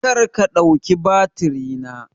Karka ɗauki batiri na!